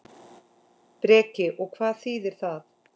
Breki: Og hvað þýðir það?